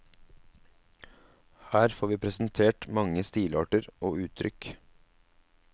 Her får vi presentert mange stilarter og uttrykk.